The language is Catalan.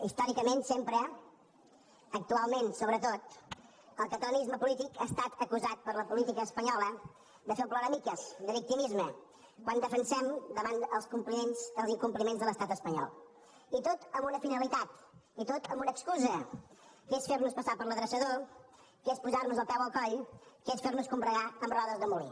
històricament sempre actualment sobretot el catalanisme polític ha estat acusat per la política espanyola de fer el ploramiques de victimisme quan defensem davant els incompliments de l’estat espanyol i tot amb una finalitat i tot amb una excusa que és fernos passar per l’adreçador que és posarnos el peu al coll que és fernos combregar amb rodes de molí